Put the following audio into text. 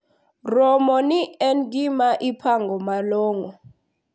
Romo ni en gima ipango malong`o.